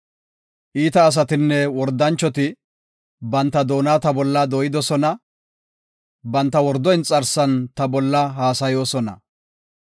Iita asatinne wordanchoti, banta doona ta bolla dooyidosona; banta wordo inxarsan ta bolla haasayoosona.